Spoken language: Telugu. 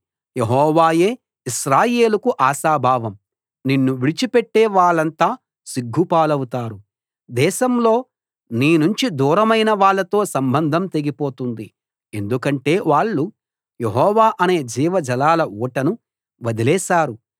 యెహోవాయే ఇశ్రాయేలుకు ఆశాభావం నిన్ను విడిచిపెట్టే వాళ్ళంతా సిగ్గుపాలవుతారు దేశంలో నీనుంచి దూరమైన వాళ్ళతో సంబంధం తెగిపోతుంది ఎందుకంటే వాళ్ళు యెహోవా అనే జీవజలాల ఊటను వదిలేశారు